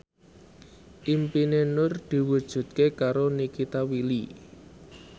impine Nur diwujudke karo Nikita Willy